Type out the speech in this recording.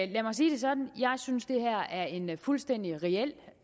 lad mig sige det sådan jeg synes det her er en fuldstændig reel